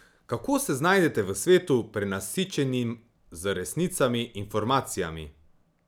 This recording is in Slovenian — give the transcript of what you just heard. Kako se znajdete v svetu, prenasičenim z resnicami, informacijami?